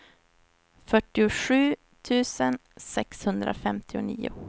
fyrtiosju tusen sexhundrafemtionio